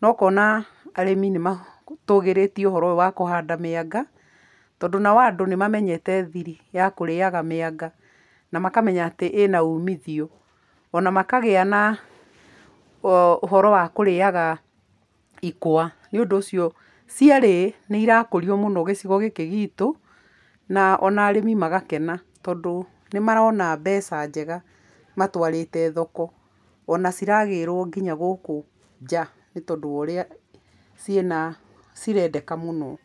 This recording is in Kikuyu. na ũkona arĩmi nĩ matũgĩrĩtie ũhoro ũyũ wa kũhanda mĩanga, tondũ nao andũ nĩ mamenyete thiri ya kũrĩaga mĩanga, na makamenya atĩ ĩna umithio, o na makagĩa na ũhoro wa kũrĩaga ikwa. Nĩ ũndũ ũcio cierĩ nĩ irakũrio mũno gĩcigo gĩkĩ gitu na ona arĩmi magakena tondũ nĩ marona mbeca njega matwarĩte thoko, ona ciragĩrwo nginya gũkũ nja nĩ tondũ wa ũrĩa ciĩna, cirendeka mũno.